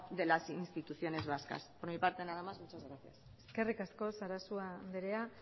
de las instituciones vascas por mi parte nada mas muchas gracias eskerrik asko sarasua andrea